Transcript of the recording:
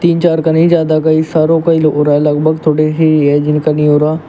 तीन चार का नहीं ज्यादा का ही सारो का हो रहा है लगभग थोड़े से ही है जिनका नहीं हो रहा है।